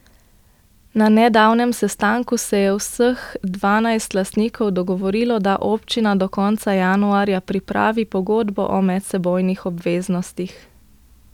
Na nedavnem sestanku se je vseh dvanajst lastnikov dogovorilo, da občina do konca januarja pripravi pogodbo o medsebojnih obveznostih.